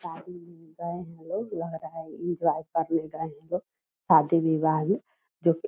शादी में गये हैं लोग लग रहा एन्जॉय करने गये हैं लोग शादी विवाह में जो की --